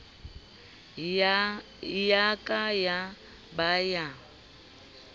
ya ka ya ba ya